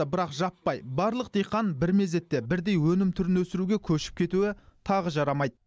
бірақ жаппай барлық диқан бір мезетте бірдей өнім түрін өсіруге көшіп кетуі тағы жарамайды